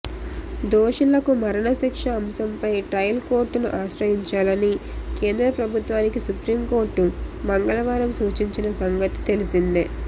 దోషులకు మరణశిక్ష అంశంపై ట్రయల్ కోర్టును ఆశ్రయించాలని కేంద్ర ప్రభుత్వానికి సుప్రీంకోర్టు మంగళవారం సూచించిన సంగతి తెలిసిందే